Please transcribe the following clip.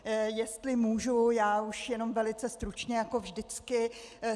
Jestli můžu, já už jenom velice stručně jako vždycky.